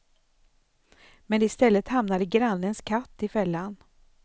Men istället hamnade grannens katt i fällan.